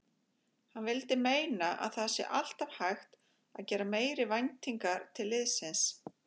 Hann vildi meina að það sé alltaf hægt að gera meiri væntingar til liðsins.